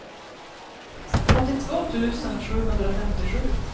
åttiotvå tusen sjuhundrafemtiosju